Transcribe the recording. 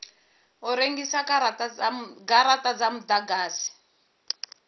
u rengisa garata dza mudagasi